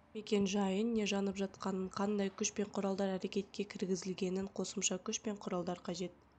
мекен-жайын не жанып жатқанын қандай күш пен құралдар әрекетке кіргізілгенін қосымша күш пен құралдар қажет